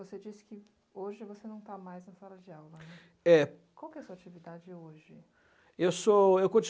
você disse que hoje você não está mais na sala de aula, né? É. Qual a sua atividade hoje? Eu sou eu